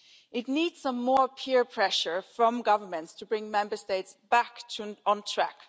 It needs some more peer pressure from governments to bring Member States back on track.